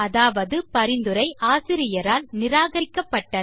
அதாவது பரிந்துரை ஆசிரியரால் நிராகரிக்கப்பட்டது